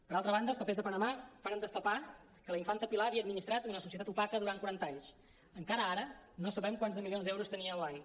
per altra banda els papers de panamà varen destapar que la infanta pilar havia administrat una societat opaca durant quaranta anys encara ara no sabem quants de milions d’euros tenia al banc